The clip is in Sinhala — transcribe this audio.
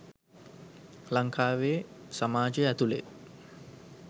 ලංකාවේ සමාජය ඇතුළේ.